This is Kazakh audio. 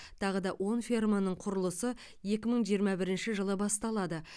тағы он ферманың құрылысы екі мың жиырма бірінші жылы басталады